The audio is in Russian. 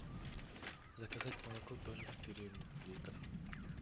заказать молоко домик в деревне литр